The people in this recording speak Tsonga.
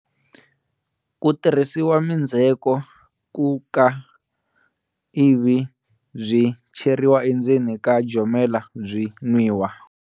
Ku tirhisiwa mindzheko ku ka ivi byi cheriwa endzeni ka jomela byi nwiwa.